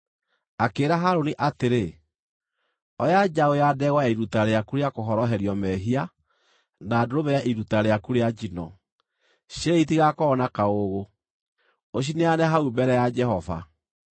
Akĩĩra Harũni atĩrĩ, “Oya njaũ ya ndegwa ya iruta rĩaku rĩa kũhoroherio mehia na ndũrũme ya iruta rĩaku rĩa njino, cierĩ itigakorwo na kaũũgũ, ũcineane hau mbere ya Jehova.